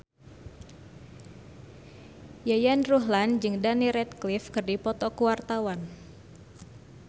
Yayan Ruhlan jeung Daniel Radcliffe keur dipoto ku wartawan